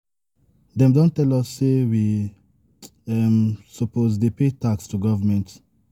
Dem don tell us say we um suppose dey pay tax to government.